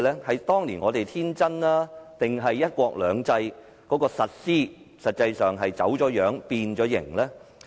是當年我們太天真，還是"一國兩制"的實施已走樣、變形？